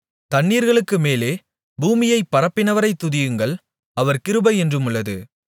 தண்ணீர்களுக்கு மேலே பூமியைப் பரப்பினவரைத் துதியுங்கள் அவர் கிருபை என்றுமுள்ளது